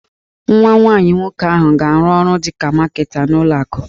Nwa nwanyị nwoke ahụ ga-arụ ọrụ dịka Maketa n'ụlọ akụ